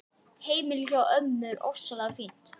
Heimilið hjá ömmu er ofsalega fínt.